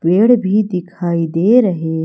पेड़ भी दिखाई दे रहे--